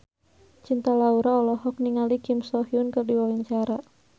Cinta Laura olohok ningali Kim So Hyun keur diwawancara